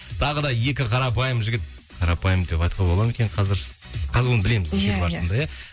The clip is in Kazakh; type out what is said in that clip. тағы да екі қарапайым жігіт қарапайым деп айтуға бола ма екен қазір қазір оны білеміз иә иә иә